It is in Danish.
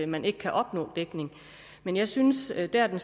man ikke kan opnå dækning men jeg synes at der hvor